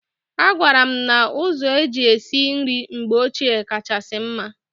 Agwara m na ụzọ eji esi nri mgbe ochie kachasị mma.